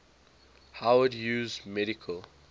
howard hughes medical